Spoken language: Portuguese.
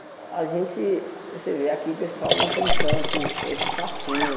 A gente, você vê aqui, o pessoal não tem tanto esse fascínio.